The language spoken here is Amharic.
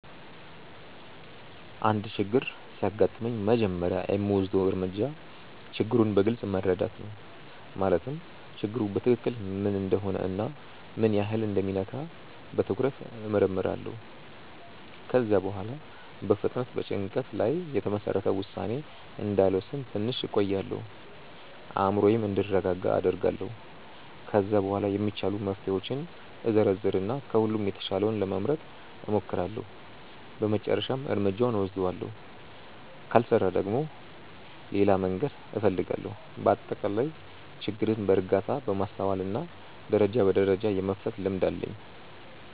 አንድ ችግር ሲያጋጥመኝ መጀመሪያ የምወስደው እርምጃ ችግሩን በግልጽ መረዳት ነው። ማለትም ችግሩ በትክክል ምን እንደሆነ እና ምን ያህል እንደሚነካ በትኩረት እመርምራለሁ። ከዚያ በኋላ በፍጥነት በጭንቀት ላይ የተመሰረተ ውሳኔ እንዳልወስን ትንሽ እቆያለሁ፤ አእምሮዬም እንዲረጋጋ አደርጋለሁ። ከዚያ በኋላ የሚቻሉ መፍትሄዎችን እዘረዝር እና ከሁሉም የተሻለውን ለመምረጥ እሞክራለሁ በመጨረሻም እርምጃውን እወስዳለሁ። ካልሰራ ደግሞ ሌላ መንገድ እፈልጋለሁ። በአጠቃላይ ችግርን በእርጋታ፣ በማስተዋል እና ደረጃ በደረጃ የመፍታት ልምድ አለኝ።